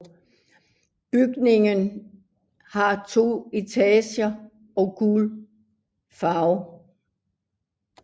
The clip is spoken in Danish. Byggningen har to etager og gul farve